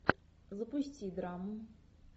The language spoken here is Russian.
запусти драму